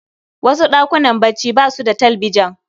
Wasu ɗakunan bacci basu da talbijan.